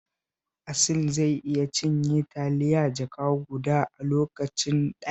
Asil zai iya cinye taliya jaka guda a lokaci ɗaya